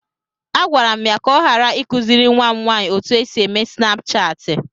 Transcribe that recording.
Agwara m ya ka ọ ghara ịkụziri nwa m nwanyị otú e si eme snapchaatị.